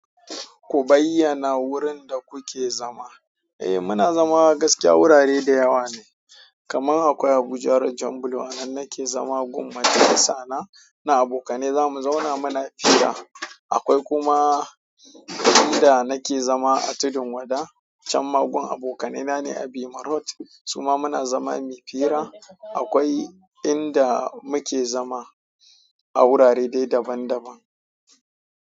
Ku bayyana wurin da kuke zama. Eh muna zama gaskiya wurare da yawa ne. Kaman akwai Abuja road jan bulo anan nake zama gun majalisa na, na abokane zamu zauna muna fira. Akwai kuma in da nake zama a Tudun Wada can ma gun abokanai na ne a Bima road suma muna zama muy fira. Akwai inda muke zama a wurare dai daban-daban.